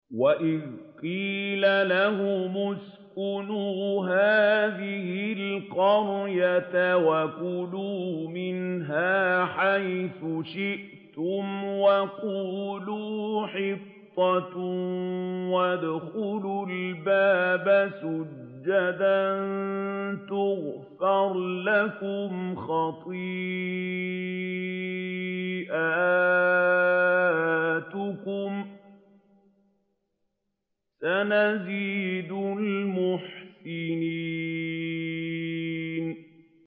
وَإِذْ قِيلَ لَهُمُ اسْكُنُوا هَٰذِهِ الْقَرْيَةَ وَكُلُوا مِنْهَا حَيْثُ شِئْتُمْ وَقُولُوا حِطَّةٌ وَادْخُلُوا الْبَابَ سُجَّدًا نَّغْفِرْ لَكُمْ خَطِيئَاتِكُمْ ۚ سَنَزِيدُ الْمُحْسِنِينَ